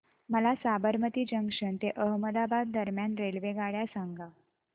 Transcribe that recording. मला साबरमती जंक्शन ते अहमदाबाद दरम्यान रेल्वेगाड्या सांगा